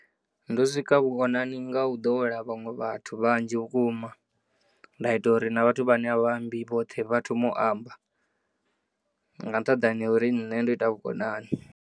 Ndo sika vhukonani ngau ḓowela vhaṅwe vhathu vhanzhi vhukuma nda ita uri na vhathu vhane avha ambi vhoṱhe vha thome u amba nga nṱhaḓani hauri nne ndo ita vhukonani.